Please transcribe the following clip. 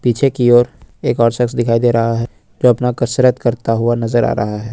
पीछे की ओर एक और सक्स दिखाई दे रहा है जो अपना कसरत करता हुआ नजर आ रहा है।